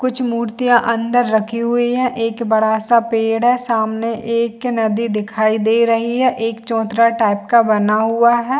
कुछ मुर्तिया अंदर रखी हुई है एक बड़ा सा पेड़ है सामने एक नदी दिखाई दे रही है एक चौतरा टाइप का बना हुआ है।